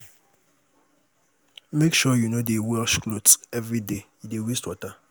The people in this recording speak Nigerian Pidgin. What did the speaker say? Make sure you no dey wash clothes everyday, e dey waste water.